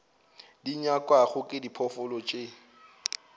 di nyakwago ke diphoofolo tše